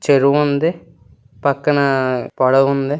చెరువు ఉంది. ఆ పక్కన పడవుంది.